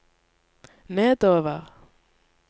nedover